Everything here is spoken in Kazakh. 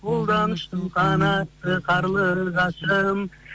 қолдан ұштың қанатты карлығашым